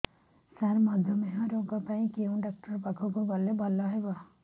ସାର ମଧୁମେହ ରୋଗ ପାଇଁ କେଉଁ ଡକ୍ଟର ପାଖକୁ ଗଲେ ଭଲ ହେବ